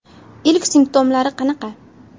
Ilk simptomlari qanaqa?